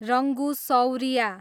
Rangu Saurya